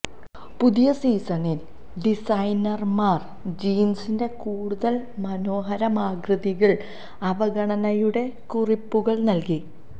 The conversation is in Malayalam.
പുതിയ സീസണിൽ ഡിസൈനർമാർ ജീൻസിന്റെ കൂടുതൽ മനോഹരമാതൃകകൾ അവഗണനയുടെ കുറിപ്പുകൾ നൽകി